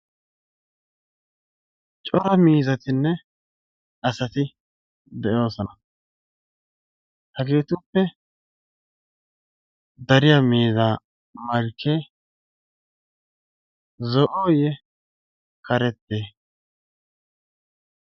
Cora miizzatinne asati de'oosona. Hageetuppe dariya miizzaa malkkee zo'o ye karettee?